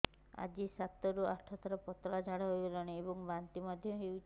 ଆଜି ସାତରୁ ଆଠ ଥର ପତଳା ଝାଡ଼ା ହୋଇଛି ଏବଂ ବାନ୍ତି ମଧ୍ୟ ହେଇଛି